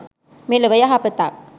මෙලොව යහපතත්